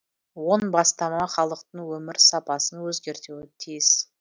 он бастама халықтың өмір сапасын өзгертуі тиіс